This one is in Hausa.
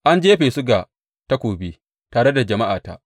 An jefa su ga takobi tare da jama’ata.